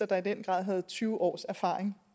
der i den grad havde tyve års erfaring